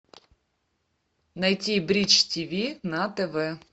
найти бридж тв на тв